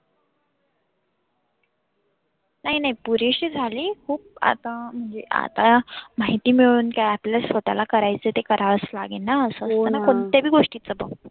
नाही नाही पुरेशी झाली खुप आता म्हणजे आता माहिती मिळवून काय? आपल्याच स्वतःला करायच ते करावाच लागेलना कोणत्यापण गोष्टीचा.